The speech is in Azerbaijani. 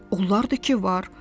Onlar da ki, var!